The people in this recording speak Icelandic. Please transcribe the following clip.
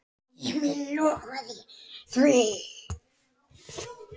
Emil lofaði því.